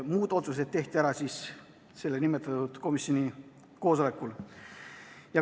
Muud otsused aga tehti ära nimetatud koosolekul.